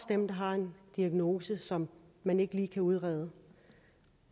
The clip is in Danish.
dem der har en diagnose som man ikke lige kan udrede